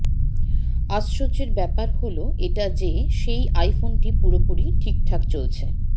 আশ্চর্যের ব্যাপার হল এটা যে সেই আইফোনটি পুরোপুরি ঠিক ঠাক চলছে